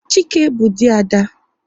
Chike bụ dị Ada